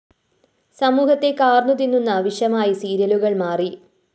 സമൂഹത്തെ കാര്‍ന്നുതിന്നുന്ന വിഷമായി സീരിയലുകള്‍ മാറി